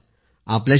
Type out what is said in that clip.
रोम्बा मगिलची